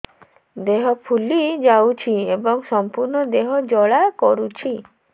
ଦେହ ଫୁଲି ଯାଉଛି ଏବଂ ସମ୍ପୂର୍ଣ୍ଣ ଦେହ ଜ୍ୱାଳା କରୁଛି